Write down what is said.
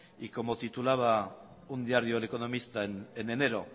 y como titulaba un diario el economista en enero